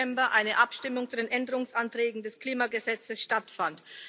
10. September eine Abstimmung zu den Änderungsanträgen des Klimagesetzes stattfand.